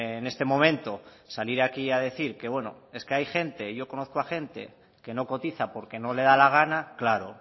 en este momento salir aquí a decir que bueno es que hay gente yo conozco a gente que no cotiza porque no le da la gana claro